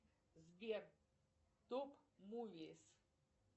сбер топ мувис